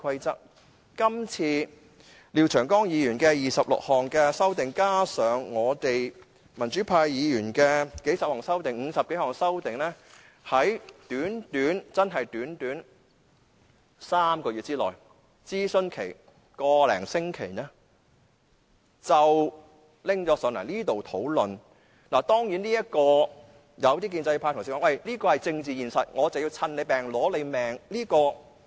這次廖長江議員的26項修訂建議，加上我們民主派議員的數十項修訂建議——合共50多項修訂建議——在短短3個月之內完成了討論，加上一個多星期的諮詢，便交到立法會會議上討論。